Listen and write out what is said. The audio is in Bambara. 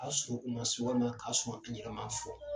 A sɔn o mɔ walima a sɔn an yɛrɛ m'a fɔ